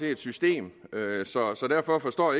af et system så derfor forstår